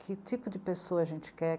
Que tipo de pessoa a gente quer?